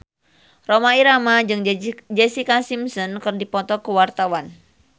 Rhoma Irama jeung Jessica Simpson keur dipoto ku wartawan